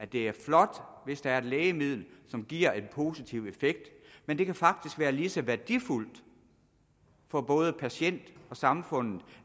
det er flot hvis der er et lægemiddel som giver en positiv effekt men det kan faktisk være lige så værdifuldt for både patienterne og samfundet